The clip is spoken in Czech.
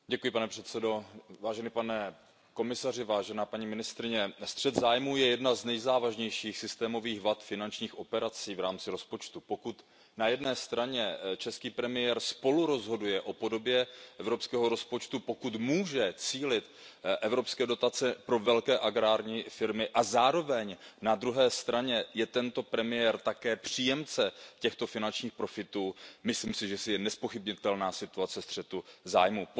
Pane předsedající, střet zájmů je jedna z nejzávažnějších systémových vad finančních operací v rámci rozpočtu. Pokud na jedné straně český premiér spolurozhoduje o podobě evropského rozpočtu, pokud může cílit evropské dotace pro velké agrární firmy a zároveň na druhé straně je tento premiér také příjemce těchto finančních profitů, myslím si, že to je nezpochybnitelná situace střetu zájmů.